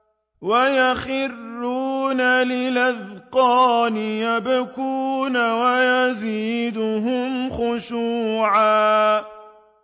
وَيَخِرُّونَ لِلْأَذْقَانِ يَبْكُونَ وَيَزِيدُهُمْ خُشُوعًا ۩